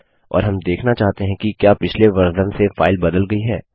और हम देखना चाहते हैं कि क्या पिछले वर्जन से फाइल बदल गई है